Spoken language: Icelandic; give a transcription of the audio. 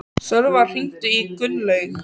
Sölva, hringdu í Gunnlaug.